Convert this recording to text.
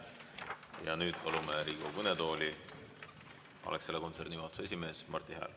Ja nüüd palume Riigikogu kõnetooli Alexela kontserni juhatuse esimehe Marti Hääle.